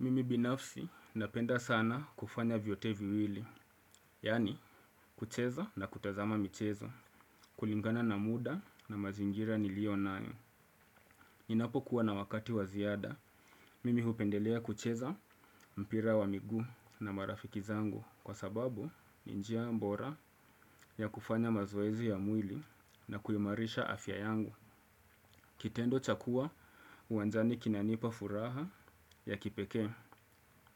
Mimi binafsi napenda sana kufanya vyote viwili, yaani kucheza na kutazama michezo, kulingana na muda na mazingira nilionayo. Ninapokuwa na wakati wa ziada, mimi hupendelea kucheza mpira wa miguu na marafiki zangu kwa sababu ni njia mbora ya kufanya mazoezi ya mwili na kuimarisha afya yangu. Kitendo cha kua uwanjani kinanipa furaha ya kipekee